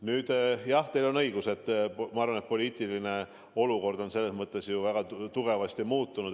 Nüüd jah, teil on õigus, poliitiline olukord on eilse päevaga väga tugevasti muutunud.